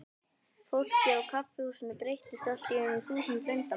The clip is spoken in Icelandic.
Fólkið í kaffihúsinu breyttist allt í einu í þúsund leyndarmál.